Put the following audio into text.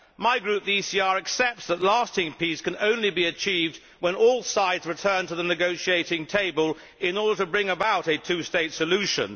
My group, the ECR, accepts that lasting peace can only be achieved when all sides return to the negotiating table in order to bring about a two state solution.